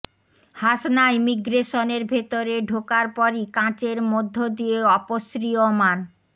হাসনা ইমিগ্রেশনের ভেতরে ঢোকার পরই কাচের মধ্য দিয়ে অপসৃয়মাণ